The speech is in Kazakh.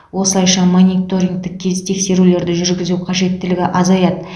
осылайша мониторингтік тез тексерулерді жүргізу қажеттілігі азаяды